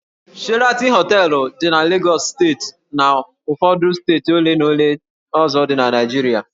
Sheraton Hóteélụ̀ dị na Lagos steeti na ụfọdụ steeti ole na ole ndị ọzọ na Naịjirịa